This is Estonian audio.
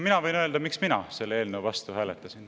Mina võin öelda, miks mina selle eelnõu vastu hääletasin.